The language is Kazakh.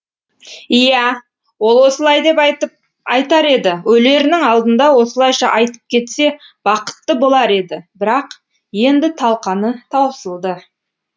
иә ол осылай деп айтар еді өлерінің алдында осылайша айтып кетсе бақытты болар еді бірақ енді талқаны таусылды